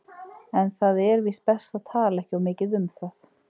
En það er víst best að tala ekki of mikið um það.